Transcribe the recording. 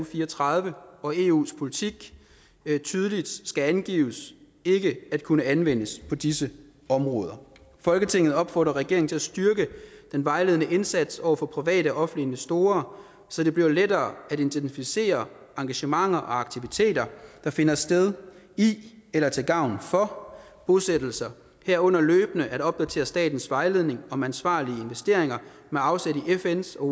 og fire og tredive og eu’s politik tydeligt skal angive ikke at kunne anvendes på disse områder folketinget opfordrer regeringen til at styrke den vejledende indsats over for private og investorer så det bliver lettere at identificere engagementer og aktiviteter der finder sted i eller er til gavn for bosættelser herunder løbende at opdatere statens vejledning om ansvarlige investeringer med afsæt i fns og